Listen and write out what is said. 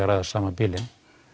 ræða sama bílinn